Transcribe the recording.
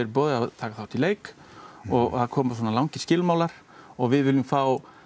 boðið að taka þátt í leik og það koma langir skilmálar og við viljum fá